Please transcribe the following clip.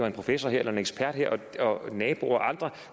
en professor en ekspert og naboer og andre